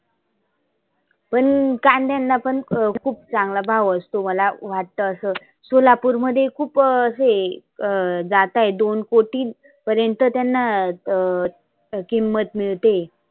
पण कांद्यांना पण खुप चांगला भाव असतो मला वाटतं असं. सोलापुर मध्ये खुप असं हे अं जात आहे दोन कोटी पर्यंत त्यांना अं किंमत मिळते आहे.